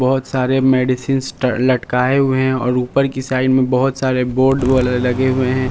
बहुत सारे मेडिसिन अह लटकाए हुए हैं और ऊपर की साइड में बहुत सारे बोर्ड वाले लगे हुए हैं।